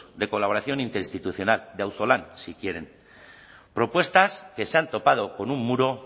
de colaboración interinstitucional de auzolan si quieren propuestas que se han topado con un muro